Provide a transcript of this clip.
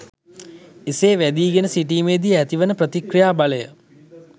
එසේ වැදීගෙන සිටීමේදී ඇතිවන ප්‍රතික්‍රියා බලය